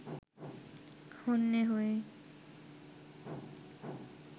হন্যে হয়ে